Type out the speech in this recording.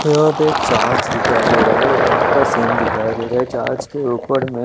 यहा पे एक चार्ज दिखाई देरा है रात का सीन दिखाई देरा है चार्ज के उपर में--